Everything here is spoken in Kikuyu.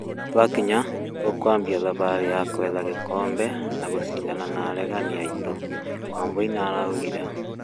Twakĩnya, tũkwambĩa thabarĩ ya gwetha gĩkombe na gũcĩndana na aregaanĩ aĩtũ" Wambũi nĩaraũgĩre